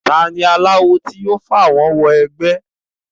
ta ni aláwo tí yóò fàwọ́n wẹgbẹ́